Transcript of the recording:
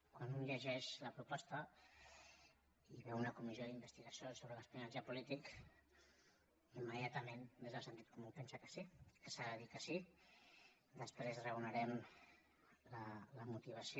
quan un llegeix la proposta i veu una comissió d’investigació sobre l’espionatge polític immediatament des del sentit comú pensa que sí que s’ha de dir que sí després raonarem la motivació